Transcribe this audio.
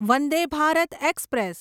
Vande Bharat express